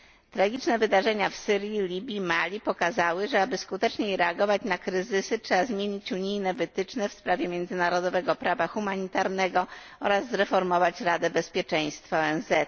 Tragiczne wydarzenia w Syrii, Libii, Mali pokazały, że aby skuteczniej reagować na kryzysy, trzeba zmienić unijne wytyczne w sprawie międzynarodowego prawa humanitarnego oraz zreformować Radę Bezpieczeństwa ONZ.